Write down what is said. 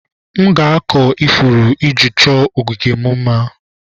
M ga-akụ ifuru iji chọọ ogige m mma